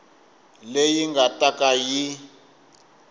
leyi nga ta ka yi